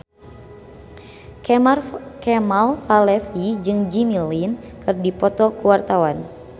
Kemal Palevi jeung Jimmy Lin keur dipoto ku wartawan